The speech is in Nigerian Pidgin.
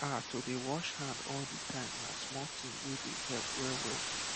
ah to dey wash hand all the time na small thing wey dey help well well